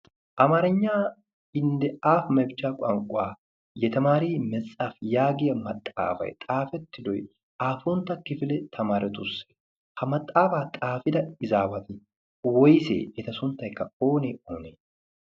amaaarigna ende aafi mefichchaa yaagiya maxaafay aapuntta kifilyaasse? ha maaxaafaa xaafida asati woysee ? eta sunttaykka oonee oonee?